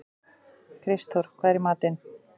Kristþór, hvað er í matinn?